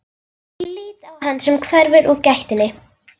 Ég lít á hann sem hverfur úr gættinni.